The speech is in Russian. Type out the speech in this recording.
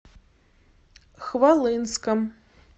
хвалынском